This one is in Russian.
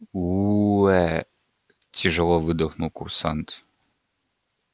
уу ээ тяжело выдохнул курсант